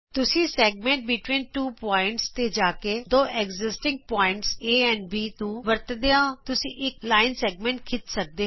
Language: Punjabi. ਤੁਸੀਂ ਸੈਗਮੈਂਟ ਬਿਟਵੀਨ ਟੂ ਪੌਆਇੰਟਜ਼ ਤੇ ਜਾ ਕੇ ਦੋ ਮੌਜੂਦ ਬਿੰਦੂਆਂ ਏ ਅਤੇ ਬੀ ਨੂੰ ਵਰਤਦਿਆਂ ਤੁਸੀਂ ਇਕ ਰੇਖਾ ਖੰਡ ਖਿੱਚ ਸਕਦੇ ਹੋ